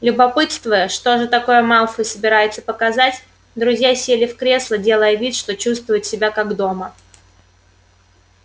любопытствуя что же такое малфой собирается показать друзья сели в кресла делая вид что чувствуют себя как дома